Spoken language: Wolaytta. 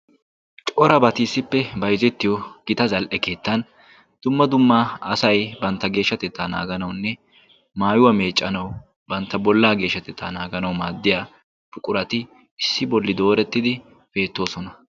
Corabati issippe bayzettiyo gita zal"e keettan dumma dummaa asay bantta geeshshatettaa naaganawunne maayuwaa meeccanawu bantta bollaa geeshshatettaa naaganau maaddiya puqurati issi bolli doorettidi peettoosona.